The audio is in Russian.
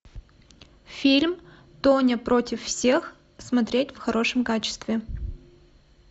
фильм тоня против всех смотреть в хорошем качестве